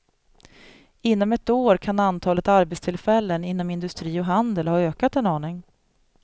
Inom ett år kan antalet arbetstillfällen inom industri och handel ha ökat en aning.